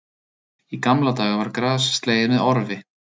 Í gamla daga var gras slegið með orfi